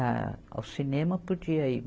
A, ao cinema podia ir.